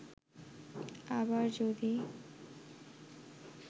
আবার যদি